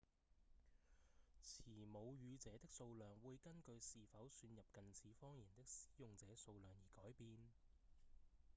持母語者的數量會根據是否算入近似方言的使用者數量而改變